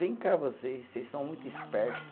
Vem cá vocês, vocês são muito esperto